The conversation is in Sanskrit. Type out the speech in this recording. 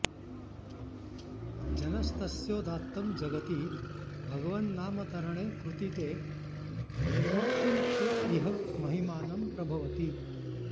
जनस्तस्योदात्तं जगति भगवन्नामतरणे कृती ते निर्वक्तुं क इह महिमानं प्रभवति